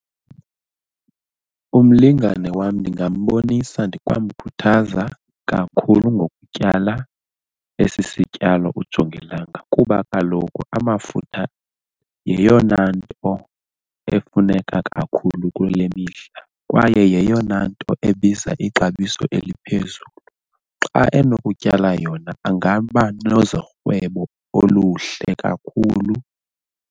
Umlingane wam ndingambonisa ndikwamkhuthaza kakhulu ngokutyala esi sityalo ujongilanga kuba kaloku amafutha yeyona nto efuneka kakhulu kule mihla kwaye yeyona nto ebiza ixabiso eliphezulu. Xa enokutyala yona angaba nezorhwebo oluhle kakhulu.